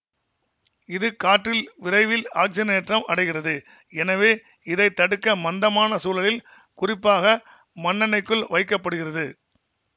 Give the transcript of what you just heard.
இது காற்றில் விரைவில் ஆக்ஸிஜனேற்றம் அடைகிறது எனவே இதை தடுக்க மந்தமான சூழலில் குறிப்பாக மண்ணெண்ணெய்க்குள் வைக்க படுகிறது